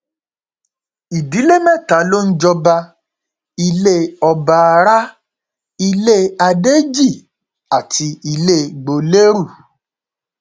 ìdílé mẹta ló ń jọba ilẹ ọbaará ilé adéjì àti ilé gbolérù